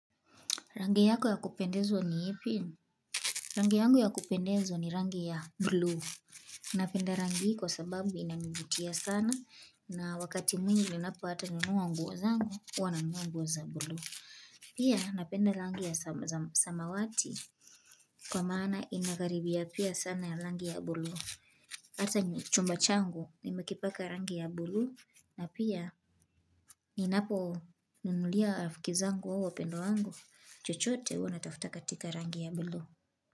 Rangi yako ya kupendezwa ni ipi? Rangi yangu ya kupendezwa ni rangi ya buluu. Napenda rangi kwa sababu inanivutia sana na wakati mwingi ninapo hata nunua nguo zangu huwana nunua za buluu. Pia napenda rangi ya samawati. Kwa maana inakaribia pia sana ya rangi ya buluu. Ata chumba changu nimekipaka rangi ya buluu na pia ninapo nunulia rafikizangu au wapendwa wangu chochote huwana tafuta katika rangi ya buluu.